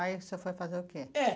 Aí você foi fazer o quê? É